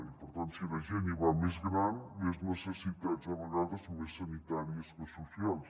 i per tant si la gent hi va més gran més necessitats a vegades més sanitàries que socials